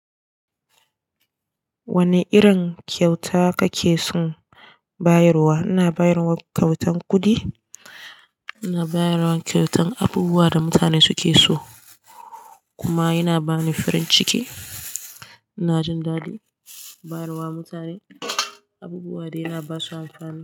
Wane irin kyauta kake son bayarwa? Ina bayar wa kyautan kudi, ina bayar wa kyautan abubuwa da mutane suke so kuma yana bani farin ciki. Ina jin daɗi bayar wa mutane abubuwa da yana ba su amfani.